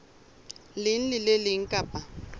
leng le le leng kapa